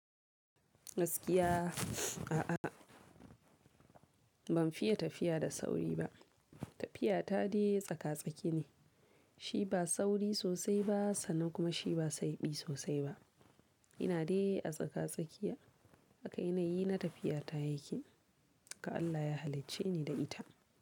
Gaskiya a'a ban fiye tafiya da sauri ba. Tafiya ta dai tsaka-tsaki ne, shi ba sauri sosai ba sannan kuma shi ba saibi sosai ba. Ina dai a tsaka-tsakiya. Haka ina yi na tafiya ta yaƙi. Ka Allah ya halicce ni da ita.